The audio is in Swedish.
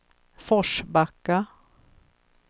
Forsbacka